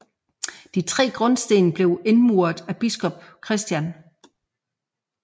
De tre grundsten blev indmuret af biskop Chr